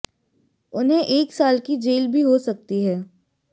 उन्हें एक साल की जेल भी हो सकती है